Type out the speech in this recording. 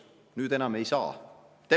Nüüd enam ei saa.